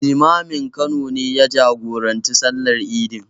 Limamin Kano ne ya jagoranci sallar idin.